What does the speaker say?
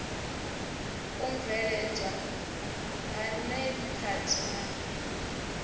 u mveledzwa ha nepad na